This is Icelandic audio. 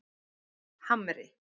Hamri